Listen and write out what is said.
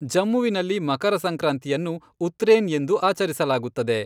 ಜಮ್ಮುವಿನಲ್ಲಿ ಮಕರ ಸಂಕ್ರಾಂತಿಯನ್ನು 'ಉತ್ರೇನ್' ಎಂದು ಆಚರಿಸಲಾಗುತ್ತದೆ.